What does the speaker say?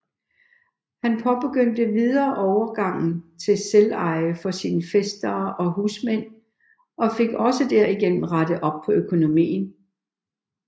Han påbegyndte endvidere overgangen til selveje for sin fæstere og husmænd og fik også derigennem rettet op på økonomien